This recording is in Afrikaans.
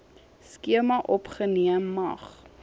skema opgeneem mag